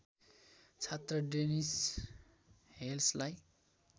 छात्र डेनिस हेल्सलाई